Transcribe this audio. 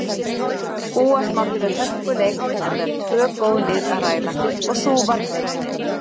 Búast mátti við hörkuleik enda um tvö góð lið að ræða og sú varð raunin.